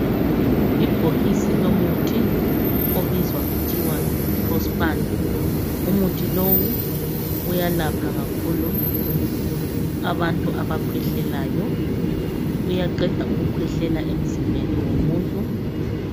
Ibhokisi lomuthi obizwa kuthiwa yi"PROSPAN".Umuthi lowu uyalapha kakhulu abantu abakhwehlelayo. Uyaqeda ukukhwehlela emzimbeni womuntu.